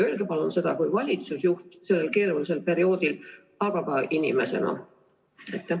Öelge palun seda kui valitsusjuht sellel keerulisel perioodil, aga ka tavalise inimesena!